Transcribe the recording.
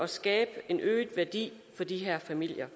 skabe en øget værdi for de her familier